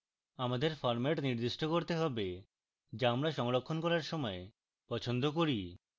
আমাদের ফরম্যাট নির্দিষ্ট করতে have যা আমরা সংরক্ষণ করার সময় পছন্দ করি